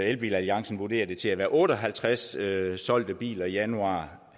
elbilalliancen vurderer det til at være otte og halvtreds solgte biler i januar